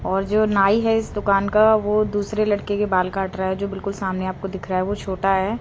और जो नई है इस दुकान का वो दूसरे लड़के के बाल काट रहा है जो बिल्कुल सामने आपको दिख रहा है वो छोटा है।